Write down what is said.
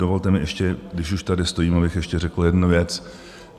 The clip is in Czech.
Dovolte mi ještě, když už tady stojím, abych ještě řekl jednu věc.